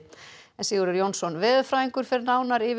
Sigurður Jónsson veðurfræðingur fer nánar yfir